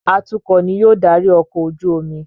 Atukọ̀ ní yóò darí ọkọ̀-ojú-omi